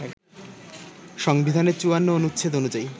সংবিধানের ৫৪ অনুচ্ছেদ অনুযায়ী